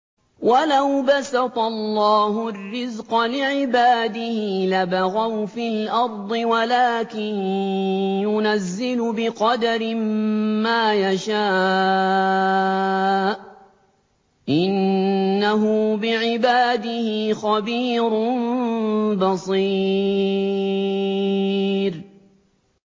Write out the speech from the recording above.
۞ وَلَوْ بَسَطَ اللَّهُ الرِّزْقَ لِعِبَادِهِ لَبَغَوْا فِي الْأَرْضِ وَلَٰكِن يُنَزِّلُ بِقَدَرٍ مَّا يَشَاءُ ۚ إِنَّهُ بِعِبَادِهِ خَبِيرٌ بَصِيرٌ